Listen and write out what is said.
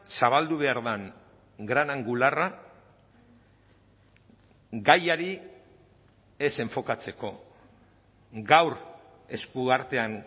zabaldu behar den gran angularra gaiari ez enfokatzeko gaur esku artean